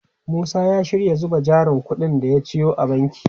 Musa ya shirya zuba jarin kudin da ya ciyo a banki.